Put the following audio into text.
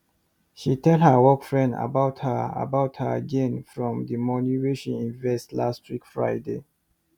she tell her work friend about her about her gain from the money wen she invest last week friday